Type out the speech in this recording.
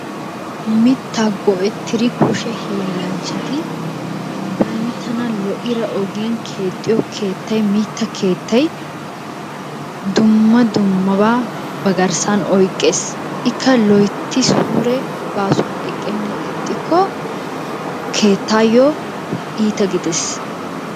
Mitaa go'ettidi kushe hiillanchati bantana lo'ida ogiyan keexxiyo keettay mitta keettay dumma dummabaa ba garssan oykees, ikka loytti suure baasuwan eqqennan ixxikko keettayo iita gidees.